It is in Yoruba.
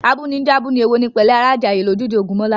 Abúni ń jẹ́ abúni, èwo ni pẹ̀lẹ́ ará Ìjàyè, lójúde Ògúnmọ́lá